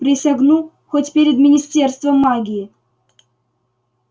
присягну хоть перед министерством магии